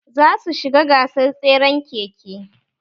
Za su shiga gasar tseren keke